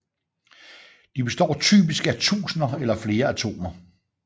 De består typisk af tusinder eller flere atomer